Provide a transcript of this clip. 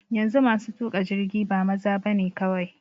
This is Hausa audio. Yanzu masu tuƙa jirgi ba maza bane kawai.